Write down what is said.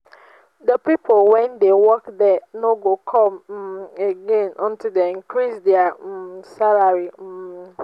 the people wey dey work there no go come um again until dey increase their um salary um